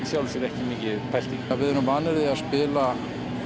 sjálfu sér ekki mikið pælt í við erum vanir því að spila